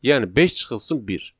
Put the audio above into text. Yəni beş çıxılsın bir.